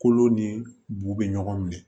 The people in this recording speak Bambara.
Kolo ni bu bɛ ɲɔgɔn minɛ